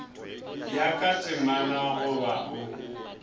ya ka temana goba o